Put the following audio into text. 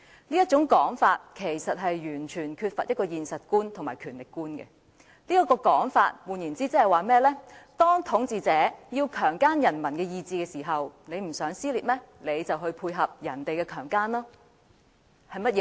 這種說法完全缺乏現實觀和權力觀，他言下之意是，當統治者要強姦人民的意志時，如你不想出現撕裂，便要配合被強姦。